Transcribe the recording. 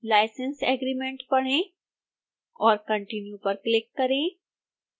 license agreement पढ़ें और continue पर क्लिक करें